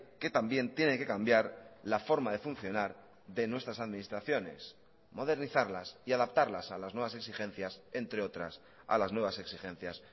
que también tiene que cambiar la forma de funcionar de nuestras administraciones modernizarlas y adaptarlas a las nuevas exigencias entre otras a las nuevas exigencias